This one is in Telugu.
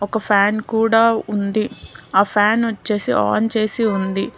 ఒక ఫ్యాన్ కూడా ఉంది ఆ ఫ్యాన్ వచ్చేసి ఆన్ చేసి ఉంది.